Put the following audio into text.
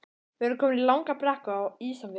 Við vorum komin í langa brekku Á Ísafirði.